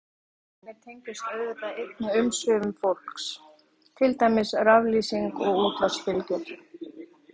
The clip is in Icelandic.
Margs konar geislun frá jörðinni tengist auðvitað einnig umsvifum fólks, til dæmis raflýsing og útvarpsbylgjur.